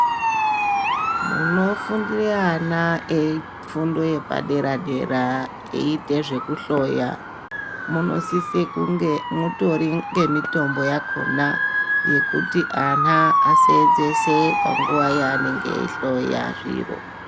Munofundire ana ,fundo yepadera dera eiite zvekuhloya munosise kunge mutori ngemutombo yakona yekuti ana asenzese panguva yanenge aihloya zviro.